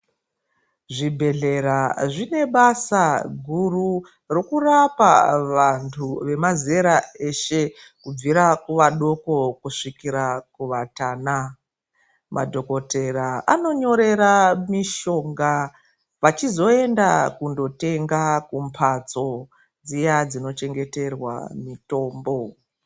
Zvibhedhlera zvine basa guru rekurapa vandu vemazera eshe kubvira kuvadoko kusvikira kuvatana madhokoteya anonyorera mishonga vachizoenda kundotenga kumbatso dziya dzinochengeterwa mitombo.